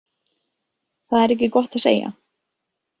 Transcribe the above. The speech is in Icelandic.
Það er ekki gott að segja.